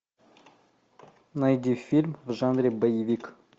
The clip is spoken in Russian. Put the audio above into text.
найди фильм в жанре боевик